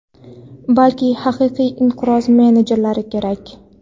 balki haqiqiy inqiroz menejerlari kerak.